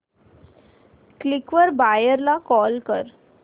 Quikr वर buyer ला call कर